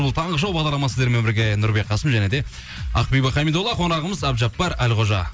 бұл таңғы шоу бағдарламасы сіздермен бірге нұрбек қасым және де ақбибі хамидолла қонағымыз әбдіжаппар әлқожа